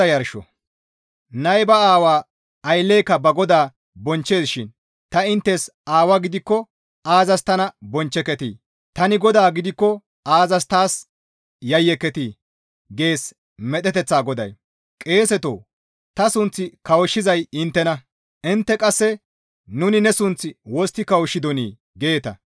«Nay ba aawa, aylleyka ba Godaa bonchchees shin ta inttes aawa gidikko aazas tana bonchcheketii? Tani Godaa gidikko aazas taas yayyeketii? gees medheteththa goday; qeesetoo! Ta sunth kawushshizay inttena. ‹Intte qasse: nuni ne sunth wostti kawushshidonii?› geeta.